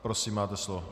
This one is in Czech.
Prosím, máte slovo.